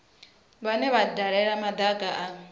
vhane vha dalela madaka a